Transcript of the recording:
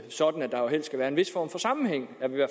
sådan at der helst skal være en vis form for sammenhæng